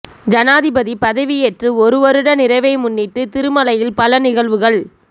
ஜனாதிபதி பதவியேற்று ஒருவருட நிறைவை முன்னிட்டு திருமலையில் பல நிகழ்வுகள்